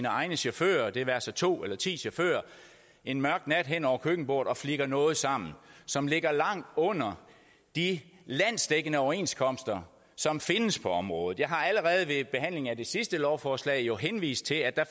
egne chauffører det være sig to eller ti chauffører en mørk nat hen over køkkenbordet og flikker noget sammen som ligger langt under de landsdækkende overenskomster som findes på området jeg har allerede ved behandlingen af det sidste lovforslag henvist til at